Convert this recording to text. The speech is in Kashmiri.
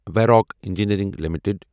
وٮ۪راک انجینیرنگ لِمِٹٕڈ